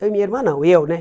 Eu e minha irmã não, eu, né?